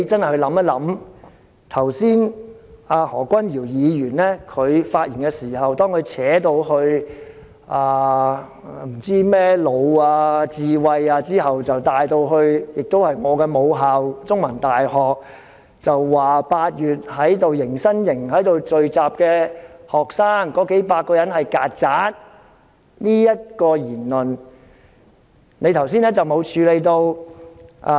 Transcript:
何君堯議員發言時，談到甚麼智慧之後，便提到我的母校香港中文大學，指8月迎新營聚集的數百名學生是"曱甴"，你剛才沒有處理他的這項言論。